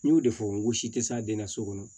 N y'o de fɔ ngosi tɛ se a den na so kɔnɔ